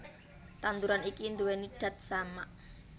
Tanduran iki nduwèni dat samak